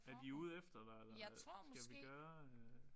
Er de ude efter dig eller skal vi gøre